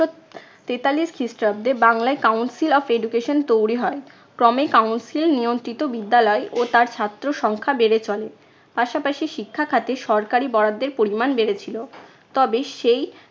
তেতাল্লিশ খ্রিস্টাব্দে বাংলায় council of education তৈরী হয়। ক্রমেই council নিয়ন্ত্রিত বিদ্যালয় ও তার ছাত্র সংখ্যা বেড়ে চলে। পাশাপাশি শিক্ষা খাতে সরকারি বরাদ্দের পরিমাণ বেড়েছিল। তবে সেই